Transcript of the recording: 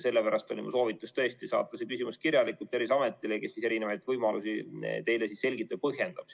Sellepärast oli minu soovitus tõesti saata see küsimus kirjalikult Terviseametile, kes erinevaid võimalusi teile selgitab ja põhjendab.